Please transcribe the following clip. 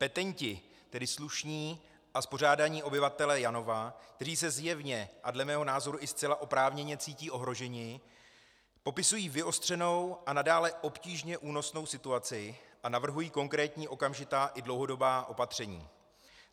Petenti, tedy slušní a spořádaní obyvatelé Janova, kteří se zjevně a dle mého názoru i zcela oprávněně cítí ohroženi, popisují vyostřenou a nadále obtížně únosnou situaci a navrhují konkrétní okamžitá i dlouhodobá opatření.